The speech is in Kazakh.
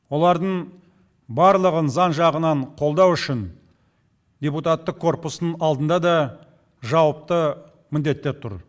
олардың барлығын заң жағынан қолдау үшін депутаттық корпустың алдында да жауапты міндеттер тұр